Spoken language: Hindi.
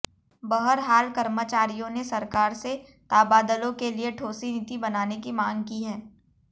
बहरहाल कर्मचारियों ने सरकार से ताबादलों के लिए ठोसी नीति बनाने की मांग की है